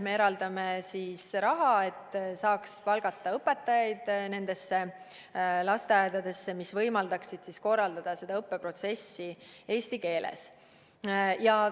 Me eraldame raha, et saaks palgata õpetajaid nendesse lasteaedadesse, mis võimaldaksid korraldada seda õppeprotsessi eesti keeles.